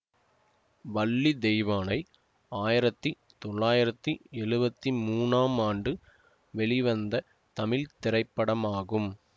வள்ளி தெய்வானை ஆயிரத்தி தொள்ளாயிரத்தி எழுவத்தி மூனாம் ஆண்டு வெளிவந்த தமிழ் திரைப்படமாகும்